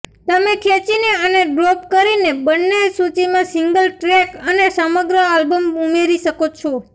તમે ખેંચીને અને ડ્રોપ કરીને બર્ન સૂચિમાં સિંગલ ટ્રેક અને સમગ્ર આલ્બમ્સ ઉમેરી શકો છો